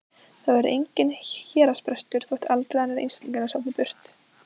Það verður enginn héraðsbrestur þótt aldraður einstæðingur sofni burt.